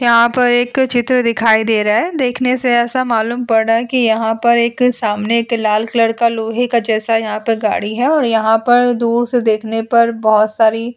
यहाँ पर एक चित्र दिखाई दे रहा है। देखने से ऐसा मालूम पड़ रहा है कि यहाँ पर एक सामने एक लाल कलर का लोहे के जैसा यहाँ पर गाड़ी है और यहाँ पर दूर से देखने पर बहोत सारी --